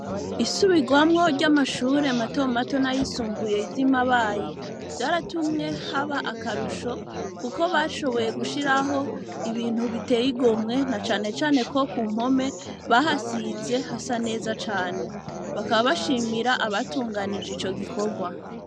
Isubirwamwo ry'amashure mato mato nayisumbuye ivyo imabayi vyaratumwe haba akarusho, kuko bashoboye gushiraho ibintu biteye igomwe na canecane ko ku mpome bahasize hasa neza cane, bakababashimira abatunganije ico gikorwa.